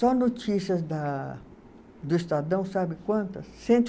Só notícias da do Estadão, sabe quantas? Cento e